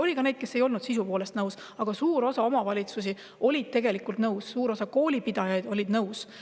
Oli ka neid, kes ei olnud sisu poolest nõus, aga suur osa omavalitsusi oli sellega tegelikult nõus, suur osa koolipidajaid oli sellega nõus.